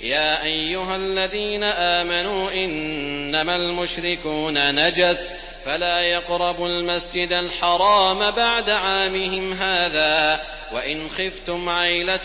يَا أَيُّهَا الَّذِينَ آمَنُوا إِنَّمَا الْمُشْرِكُونَ نَجَسٌ فَلَا يَقْرَبُوا الْمَسْجِدَ الْحَرَامَ بَعْدَ عَامِهِمْ هَٰذَا ۚ وَإِنْ خِفْتُمْ عَيْلَةً